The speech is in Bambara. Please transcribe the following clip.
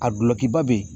A dulɔki ba be yen